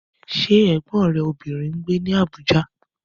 Ṣé Ẹ̀gbọ́n rẹ obìnrin ń gbé ní Abuja?